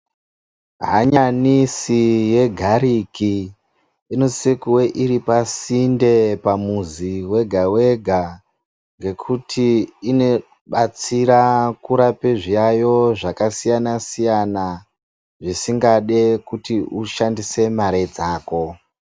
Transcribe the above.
Hanyanisi yegariki inosise kuve iripasinde pamuzi wega-wega ngekuti inobatsira kurape zviyayo zvskasiyana-siyana zvisingade kuti ushandise mare dzako.